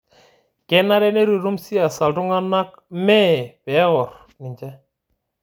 Kenare neitutum siasa ltung'ana mee pee eorr ninche